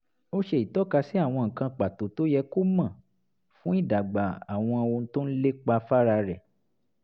ó ṣe ìtọ́kasí àwọn nǹkan pàtó tó yẹ kó mọ̀ fún ìdàgbà àwọn ohun tó ń lépa fára rẹ̀